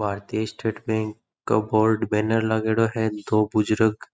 भारतीय state bank का board banner लागेडो है और दो बुजुर्ग